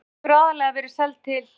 Skreið hefur aðallega verið seld til